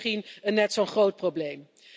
Dat is misschien een net zo'n groot probleem.